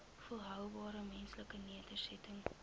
volhoubare menslike nedersettings